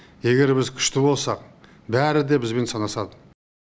егер біз күшті болсақ бәрі де бізбен санасады